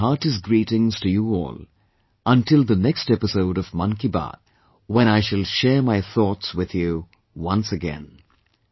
I extend my heartiest greetings to you all, until the next episode of 'Mann Ki Baat', when I shall share my thoughts with you once again